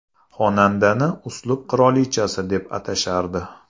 Xonandani uslub qirolichasi deb atashardi.